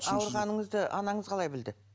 ауырғаныңызды анаңыз қалай білді